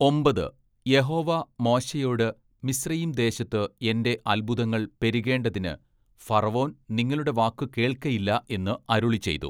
ഒമ്പത്, യഹോവ മോശെയോട് മിസ്രയീംദേശത്ത് എന്റെ അത്ഭുതങ്ങൾ പെരുകേണ്ടതിന് ഫറവോൻ നിങ്ങളുടെ വാക്കു കേൾക്കയില്ല എന്ന് അരുളിച്ചെയ്തു.